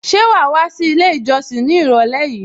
Ṣé wàá wá sí ilé ìjọsìn ní ìrọ̀lẹ́ yìí?